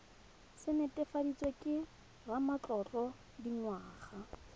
se netefaditsweng ke ramatlotlo dingwaga